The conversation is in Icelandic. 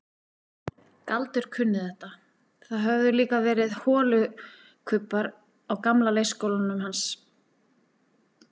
Galdur kunni þetta, það höfðu líka verið holukubbar á gamla leikskólanum hans.